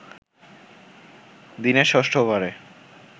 দিনের ষষ্ঠ ওভারে